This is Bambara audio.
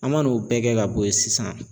An ma n'o bɛɛ kɛ ka bɔ yen sisan.